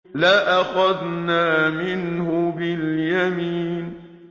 لَأَخَذْنَا مِنْهُ بِالْيَمِينِ